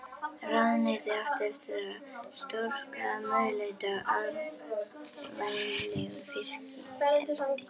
Ráðuneytið átti eftir að stórskaða möguleika á arðvænlegu fiskeldi.